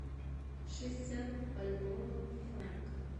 шестьдесят бальбоа в франках